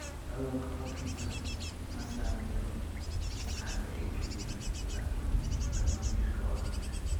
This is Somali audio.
Cudurka Parkinson ma saameeyo maskaxda oo kaliya, laakiin dhammaan jirka oo dhan.